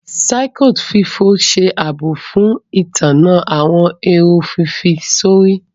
Circuit fífọ ṣe ààbò fún ìtanná àwọn èrò fífi sórí.